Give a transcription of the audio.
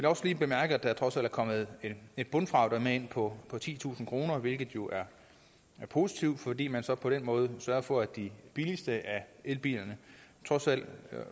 også lige bemærke at der trods alt er kommet et bundfradrag på titusind kroner hvilket jo er positivt fordi man så på den måde sørger for at de billigste af elbilerne fortsat